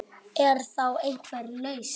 Er þá einhver lausn